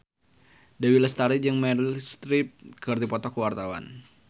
Dewi Lestari jeung Meryl Streep keur dipoto ku wartawan